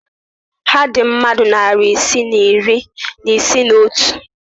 Ha dị mmadụ narị isii na iri isii na otu?